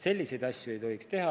Selliseid asju ei tohiks teha.